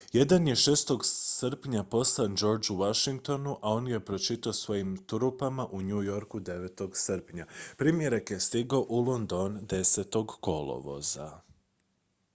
jedan je 6. srpnja poslan georgeu washingtonu a on ga je pročitao svojim trupama u new yorku 9. srpnja primjerak je stigao u london 10. kolovoza